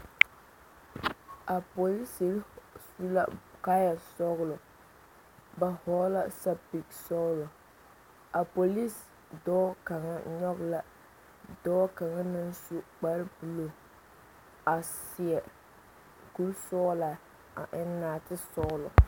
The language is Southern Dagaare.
A polisiiri su la kaaya sɔglɔ ba vɔgl la sapele sɔglɔ a polisi dɔɔ kaŋa nyoŋ la dɔɔ kaŋa naŋ su kpare buluu a seɛ kuri sɔglaa a eŋ naate sɔglɔ.